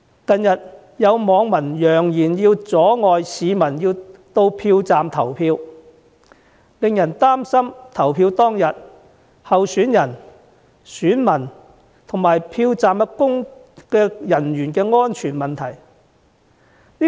近日有網民揚言要阻礙市民到票站投票，令人擔心在投票當天，候選人、選民及票站人員的安全問題。